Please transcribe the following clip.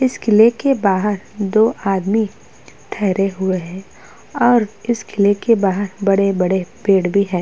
इस किले के बाहर दो आदमी ठहरे हुए हैं और इस किले के बाहर बड़े-बड़े पेड़ भी हैं।